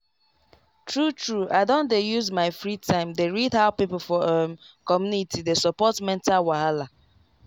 true true i don dey use my free time dey read how people for um community dey support mental wahala.